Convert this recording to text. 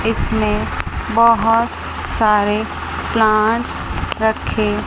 इसमें बहोत सारे प्लांट्स रखे--